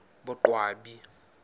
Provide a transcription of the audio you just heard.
boqwabi